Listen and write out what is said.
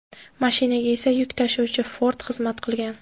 Mashinaga esa yuk tashuvchi Ford xizmat qilgan.